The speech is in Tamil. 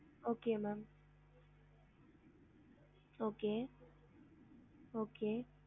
Okay ma'am okay okay